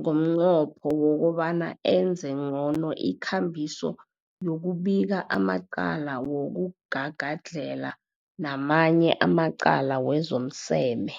ngomnqopho wokobana enze ngcono ikambiso yokubika amacala wokugagadlhela namanye amacala wezomseme.